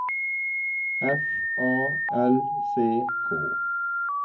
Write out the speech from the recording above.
F A L C K